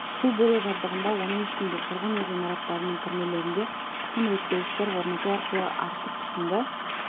су бөлу жабдығында оның ішінде тұрғын үй ғимараттарының кірмелерінде қысым реттеуіштер орнату арқылы артық қысымды